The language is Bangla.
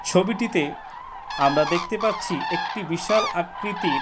ছবিটিতে আমরা দেখতে পাচ্ছি একটি বিশাল আকৃতির--